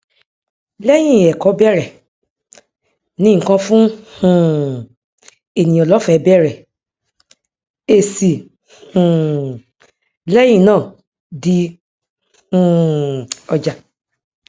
lẹyìn ẹkọ bẹrẹ ní nǹkan fún um ènìyàn lọfẹẹ bèèrè èsì um lẹyìn náà di um ọjà